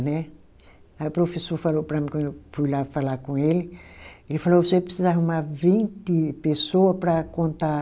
Né. Aí o professor falou para mim, quando eu fui lá falar com ele, ele falou, você precisa arrumar vinte pessoa para contar